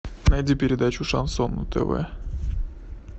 найди передачу шансон на тв